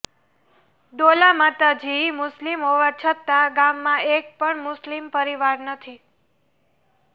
ડોલા માતાજી મુસ્લિમ હોવા છતાં ગામમાં એક પણ મુસ્લિમ પરિવાર નથી